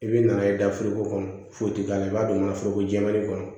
I bɛ na n'a ye dafiriko kɔnɔ foyi tɛ k'a la i b'a don mansin ko jɛma kɔnɔ